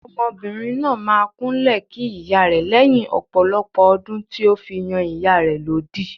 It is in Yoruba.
Ọmọbìnrin náà máa kúnlẹ̀ kí ìyá rẹ̀ lẹ́yìn ọ̀pọ̀lọpọ̀ ọdún tí ó fi yan ìyá rẹ̀ lódì.